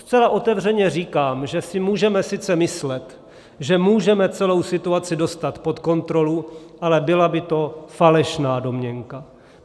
Zcela otevřeně říkám, že si můžeme sice myslet, že můžeme celou situaci dostat pod kontrolu, ale byla by to falešná domněnka.